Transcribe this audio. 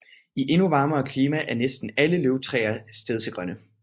I endnu varmere klimaer er næsten alle løvtræer stedsegrønne